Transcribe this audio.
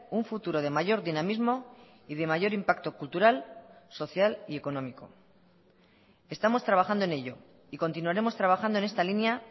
un futuro de mayor dinamismo y de mayor impacto cultural social y económico estamos trabajando en ello y continuaremos trabajando en esta línea